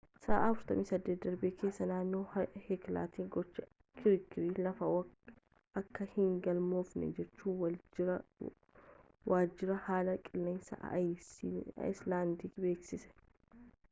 sa'aa 48 darban keessa naannoo heeklaatti gochi kirkira lafaa akka hin galmoofne jechuun waajjirri haala qilleensaa aayislaandii beeksise